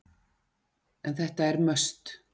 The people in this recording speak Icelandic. En þetta er must.